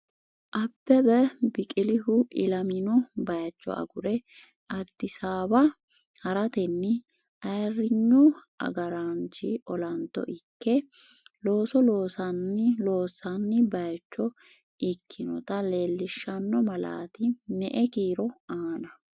Abbebe Biqilihu ilamino bayicho agure disaawa haratenni ayirrinyu agaraanchi olanto ikke looso, loonni bayicho ikkinota leellishanno malaati me”e kiiro aana?